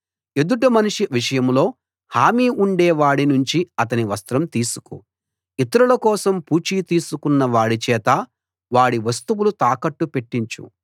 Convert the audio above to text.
ఎదుటి మనిషి విషయంలో హామీ ఉండే వాడి నుంచి అతని వస్త్రం తీసుకో ఇతరుల కోసం పూచీ తీసుకున్న వాడిచేత వాడి వస్తువులు తాకట్టు పెట్టించు